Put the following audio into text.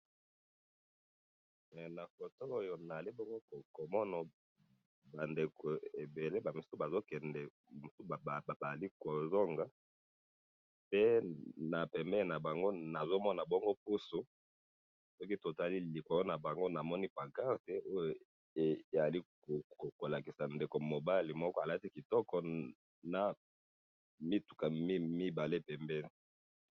na photo oyo nazo komona ba ndeko ebele bazo kende mtu babali ko zonga pe na pembeni na bango nazoma pusu soki totali likolo na bango namoni pan carte eyo ezali ko lakisa ndeko mobali alati kitoko na mituka mibale pembeni